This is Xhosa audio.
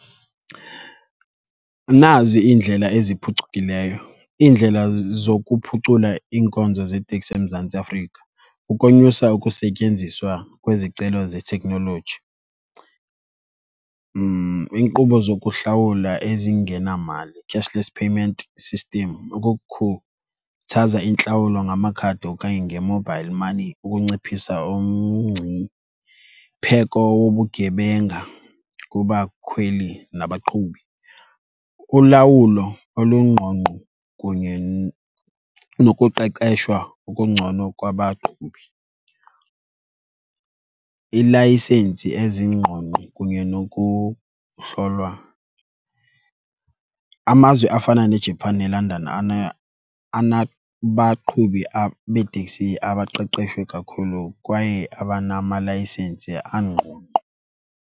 Nazi iindlela eziphucukileyo, iindlela zokuphucula iinkonzo zeetekisi eMzantsi Afrika, ukonyusa ukusetyenziswa kwezicelo zeteknoloji, iinkqubo zokuhlawula ezingenamali, cashless payment system, ukukhuthaza intlawulo ngamakhadi okanye nge-mobile money ukunciphisa umngcipheko wobugebenga kubakhweli nabaqhubi. Ulawulo olungqongqo kunye nokuqeqeshwa okungcono kwabaqhubi, iilayisensi ezingqongqo kunye nokuhlolwa. Amazwe afana neJapan neLondon anabaqhubi beeteksi abaqeqeshwe kakhulu kwaye abanamalayisensi angqongqo.